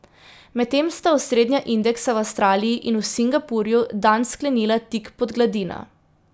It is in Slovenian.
Medtem sta osrednja indeksa v Avstraliji in v Singapurju dan sklenila tik pod gladino.